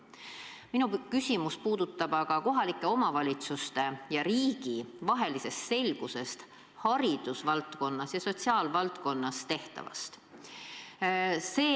Minu küsimus puudutab aga kohalike omavalitsuste ja riigi vahelist selgust haridusvaldkonnas ja sotsiaalvaldkonnas tehtavas.